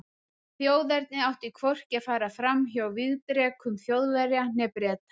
Þjóðernið átti hvorki að fara fram hjá vígdrekum Þjóðverja né Breta.